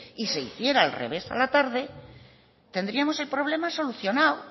y se hiciera al revés a la tarde tendríamos el problema solucionado